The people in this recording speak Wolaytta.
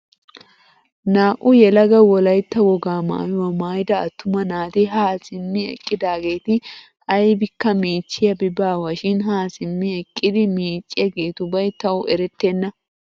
Naa"u yelaga wolaytta wogaa maayuwaa maayida attuma naati haa simmi eqqidaageti aybikka miichchiyaabi baawa shin haa simmi eqqidi miicciyaagetubay tawu erettenna.